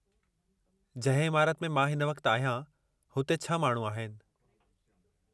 जंहिं इमारत में मां हिन वक़्तु आहियां, हुते 6 माण्हू आहिनि।